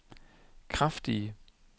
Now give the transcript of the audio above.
kraftige